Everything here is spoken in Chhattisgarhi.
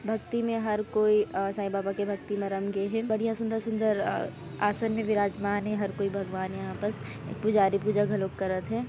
भक्ति में हर कोई अ साईं बाबा के भक्ति मे रंगे हे बढ़िया सुन्दर-सुन्दर अ आसान मे विराजमान हे हर कोई भगवान यहाँ पास पुजारी पूजा घलोक करत हे।